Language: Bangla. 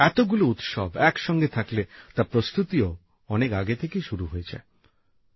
এতগুলো উৎসব একসঙ্গে থাকলে তার প্রস্তুতিও অনেক আগে থেকেই শুরু হয়ে যায়